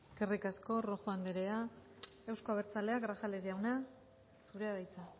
eskerrik asko rojo anderea euzko abertzaleak grajales jauna zurea da hitza